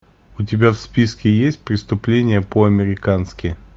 у тебя в списке есть преступление по американски